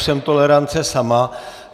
Jsem tolerance sama.